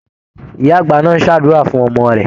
Ìyá-àgbà náà ń ṣàdúrà fún ọmọ rẹ̀.